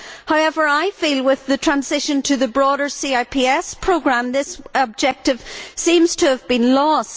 However, I feel with the transition to the broader CIPS programme, this objective seems to have been lost.